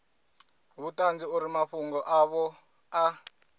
vhuṱanzi uri mafhungo avho a